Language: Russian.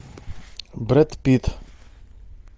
брэд питт